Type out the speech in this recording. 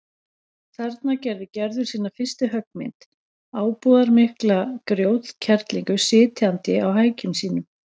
Þarna gerði Gerður sína fyrstu höggmynd, ábúðarmikla grjótkerlingu sitjandi á hækjum sínum.